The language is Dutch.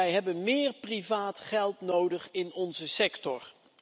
Wij hebben meer privaat geld nodig in onze sector.